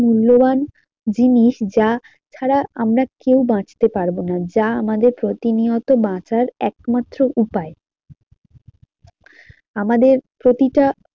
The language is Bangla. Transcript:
মূল্যবান জিনিস যা ছাড়া আমরা কেউ বাঁচতে পারবো না যা আমাদের প্রতিনিয়ত বাঁচার একমাত্র উপায় আমাদের প্রতিটা